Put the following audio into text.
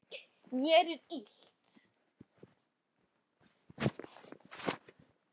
Mér er illt.